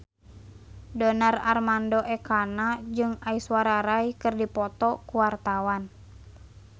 Donar Armando Ekana jeung Aishwarya Rai keur dipoto ku wartawan